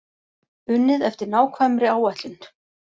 Unnið eftir nákvæmri áætlun